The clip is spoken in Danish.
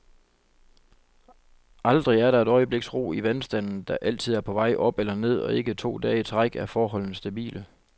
Aldrig er der et øjebliks ro i vandstanden, der altid er på vej op eller ned, og ikke to dage i træk er forholdene stabile.